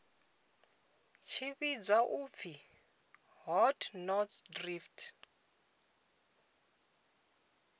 tshi vhidzwa u pfi hotnotsdrift